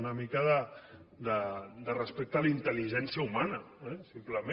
una mica de respecte a la intel·ligència humana eh simplement